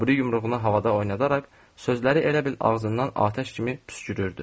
O biri yumruğunu havada oynadaraq sözləri elə bil ağzından atəş kimi püskürürdü.